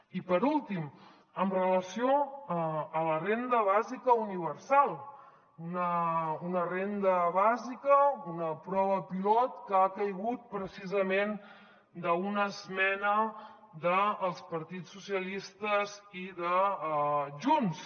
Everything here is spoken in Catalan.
i per últim amb relació a la renda bàsica universal una renda bàsica una prova pilot que ha caigut precisament d’una esmena dels partits socialistes i de junts